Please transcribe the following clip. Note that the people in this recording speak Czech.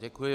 Děkuji.